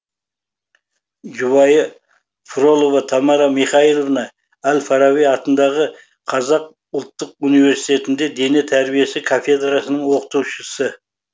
жұбайы фролова тамара михайловна әл фараби атындағы қазақ ұлттық университетінде дене тәрбиесі кафедрасының оқытушысы